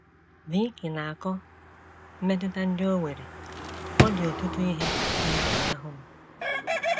Vicki na - akọ mmetụta ndị o nwere: “ Ọ dị ọtụtụ ihe na - efunahụ m.